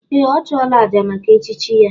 Ee! Ọ chụọla àjà maka echichi ya.